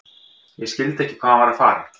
Ég skildi ekki hvað hann var að fara.